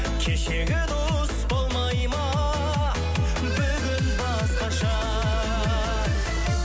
кешегі дос болмай ма бүгін басқаша